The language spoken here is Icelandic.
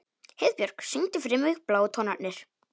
Heiðbjörk, syngdu fyrir mig „Bláu tónarnir“.